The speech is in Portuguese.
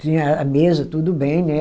Tinha a mesa, tudo bem, né?